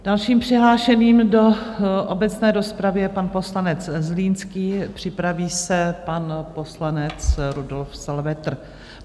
Dalším přihlášeným do obecné rozpravy je pan poslanec Zlínský, připraví se pan poslanec Rudolf Salvetr.